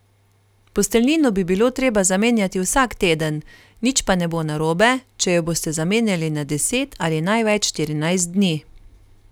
Posteljnino bi bilo treba zamenjati vsak teden, nič pa ne bo narobe, če jo boste zamenjali na deset ali največ štirinajst dni.